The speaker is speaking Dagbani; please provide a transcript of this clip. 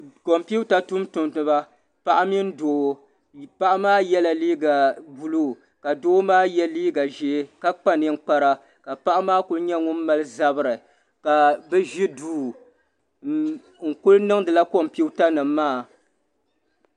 Kompita tumtumdiba paɣa mini doo paɣa maa yela liiga buluu ka doo maa ye liiga ʒee la kpa ninkpara ka paɣa maa kuli nyɛ ŋun mali zabri ka bɛ ʒi duu n kuli niŋdila kompita nima maa.